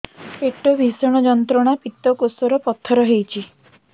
ପେଟ ଭୀଷଣ ଯନ୍ତ୍ରଣା ପିତକୋଷ ରେ ପଥର ହେଇଚି